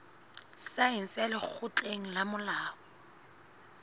saense ya lekgotleng la molao